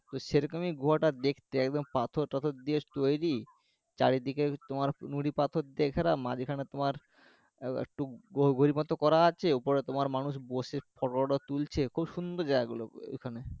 তো সেরকমই গুহাটা দেখতে একদম পাথর তাথর দিয়ে তৈরী চারিদিকে তোমার নুড়িপাথর দিয়ে ঘেরা মাঝখানে তোমার একটু গো গভীর মতো করা আছে উপরে তোমার মানুষ photo toto তুলছে খুব সুন্দর জায়গাগুলো ও এখানে